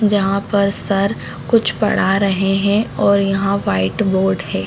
जहां पर सर कुछ पढ़ा रहे हैं और यहाँ पर व्हाइट बोर्ड हैं।